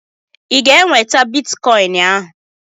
I ga-enweta bitikọin ahụ?